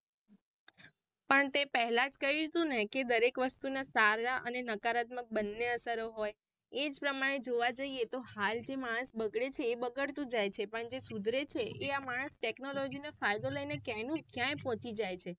પણ તે પહેલાજ કહયું હતું ને કે દરેક વાસ્તુના સારા અને નકારાત્મક બંને અસરો હોય એ સમય જોવા જઇયે તો હાલ જે માણસ બગડે છે એ બગડતું જાય છે અને જે સુધરે છે એ માણસ technology નો ફાયદો લઈને ક્યાંય નું ક્યાંય પોહચી જાય છે.